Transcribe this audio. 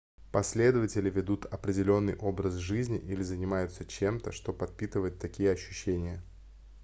последователи ведут определенный образ жизни или занимаются чем-то что подпитывает такие ощущения